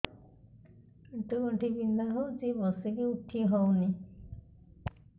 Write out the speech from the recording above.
ଆଣ୍ଠୁ ଗଣ୍ଠି ବିନ୍ଧା ହଉଚି ବସିକି ଉଠି ହଉନି